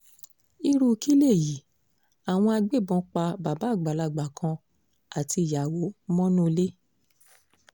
irú kí léyìí àwọn agbébọn pa bàbá àgbàlagbà kan àtìyàwó mọ́nú ilé